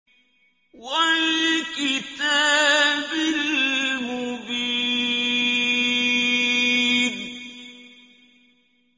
وَالْكِتَابِ الْمُبِينِ